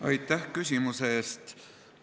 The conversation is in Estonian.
Aitäh küsimuse eest!